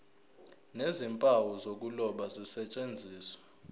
nezimpawu zokuloba zisetshenziswe